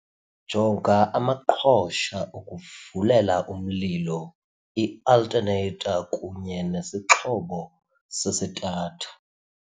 Jonga amaqhosha okuvulela umlilo, i-alternator kunye nesixhobo sesitatha.